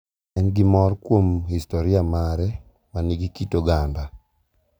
En gi mor kuom historia mare ma nigi kit oganda